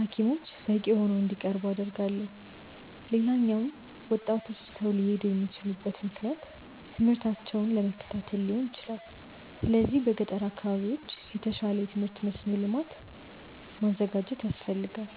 ሀኪሞች በቂ ሆነው እንዲቀርቡ አደርጋለሁ። ሌላኛው ወጣቶች ትተው ሊሄዱ የሚችሉበት ምክንያት ትምህርታቸውን ለመከታተል ሊሆን ይችላል። ስለዚህ በገጠር አካባቢዎች የተሻለ የትምህርት መስኖ ልማት ማዘጋጀት ያስፈልጋል።